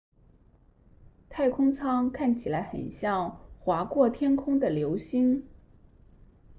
太空舱看起来很像划过天空的流星